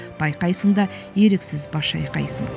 байқайсың да еріксіз бас шайқайсың